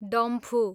डम्फु